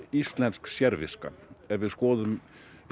íslensk sérviska ef við skoðum